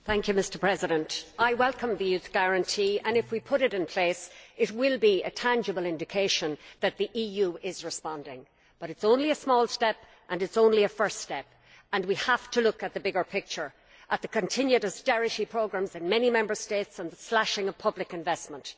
Mr President, I welcome the youth guarantee and if we put it in place it will be a tangible indication that the EU is responding, but it is only a small step and it is only a first step, and we have to look at the bigger picture, at the continued austerity programmes in many Member States and the slashing of public investment.